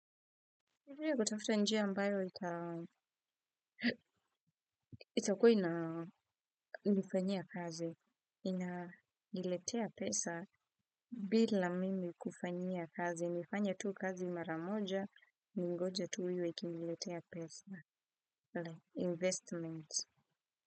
Kutafuta njia ambayo itakuwa ina nifanyia kazi, inaniletea pesa bila mimi kufanyia kazi. Nifanye tu kazi maramoja, ningoje tu iwe ikiniletea pesa. Investment.